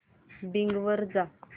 Bing वर जा